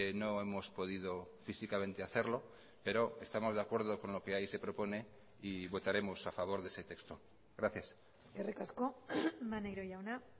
no hemos podido físicamente hacerlo pero estamos de acuerdo con lo que ahí se propone y votaremos a favor de ese texto gracias eskerrik asko maneiro jauna